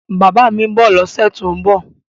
Bàbá mi ń bọ̀ lọ́sẹ̀ tó ń bọ̀